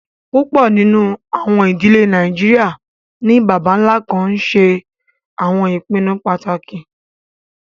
Púpọ nínu àwọn idílẹ̀ Nàìjíríà ni bàbá-nlá kàn nṣẹ àwọn ìpìnnú pátákì.